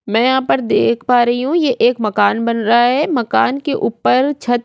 मैं यहाँ पर देख पा रही हूँ ये एक मकान बन रहा है मकान के ऊपर छत --